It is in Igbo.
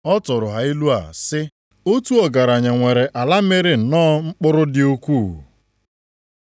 Ọ tụụrụ ha ilu a sị, “Otu ọgaranya nwere ala mịrị nnọọ mkpụrụ dị ukwuu.